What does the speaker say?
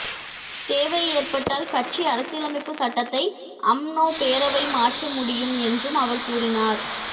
தேவை ஏற்பட்டால் கட்சி அரசியலமைப்பு சட்டத்தை அம்னோ பேரவை மாற்ற முடியும் என்றும் அவர் கூறினார்